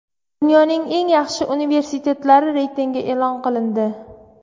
Dunyoning eng yaxshi universitetlari reytingi e’lon qilindi.